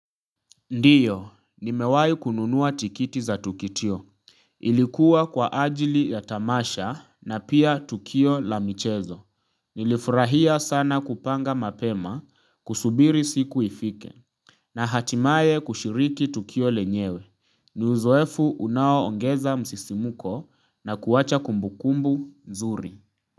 Ndiyo, nimewai kununua tiketi za tukio. Ilikuwa kwa ajili ya tamasha na pia tukio la michezo. Nilifurahia sana kupanga mapema kusubiri siku ifike. Na hatimaye kushiriki tukio lenyewe. Niuzoefu unao ongeza msisimuko na kuwaacha kumbukumbu nzuri.